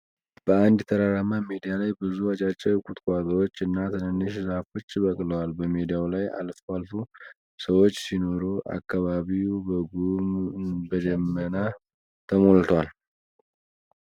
በአንድ ተራራማ ሜዳ ላይ ብዙ አጫጭር ቁጥቋጦዎች እና ትንሽ ዛፎች በቅለዋል። በሜዳው ላይ አልፈው አልፈው ሰዎች ሲኖር አካባቢው በጉም ደመና ተሞልቷል።